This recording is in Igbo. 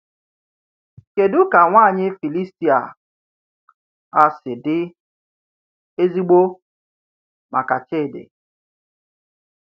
Kedu ka nwanyị Filistia a si dị “ezigbo” maka Chidi?